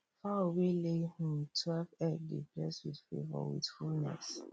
fowl wey lay um twelve egg dey bless with favour with fullness